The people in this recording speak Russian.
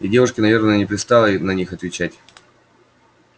и девушке наверное не пристало на них отвечать